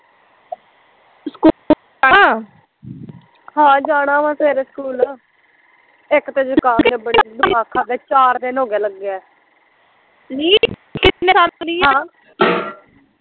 ਹਾਂ ਜਾਣਾ ਵਾ ਸਵੇਰੇ ਸਕੂਲ ਇੱਕ ਤੇ ਆਹ ਜ਼ੁਕਾਮ ਚਾਰ ਦਿਨ ਹੋਗੇ ਲੱਗਾ ਆ